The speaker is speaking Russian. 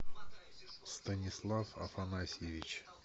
станислав афанасьевич